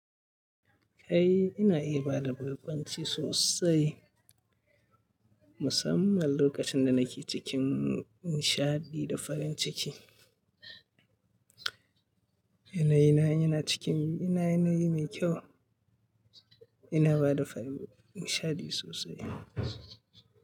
Kai ina iya bada barƙwanci sosai, musamman lokacin da nake cikin nishaɗi da farin ciki. Yanayi na, yana ciki, yana yanayi mai kyau. Ina bada nishaɗi sosai.